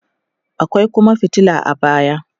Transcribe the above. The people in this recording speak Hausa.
akwai Kuma fitila a baya